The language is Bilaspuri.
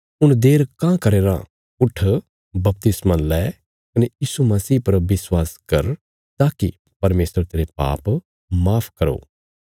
हुण देर काँह करया राँ उट्ठ बपतिस्मा लै कने यीशु मसीह पर विश्वास कर ताकि परमेशर तेरे पाप माफ करो